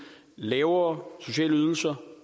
lavere sociale ydelser